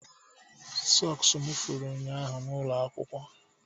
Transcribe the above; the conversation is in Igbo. sọks tụfuru m ụnyaahụ n'ụlọ akwụkwọ